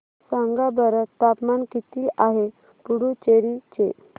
सांगा बरं तापमान किती आहे पुडुचेरी चे